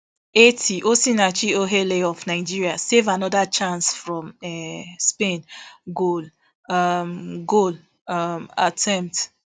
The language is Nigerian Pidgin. eighty osinachi ohale of nigeria save anoda chance from um spain goal um goal um attempt